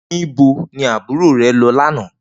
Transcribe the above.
Nibó ni ábúró rè lò lànã?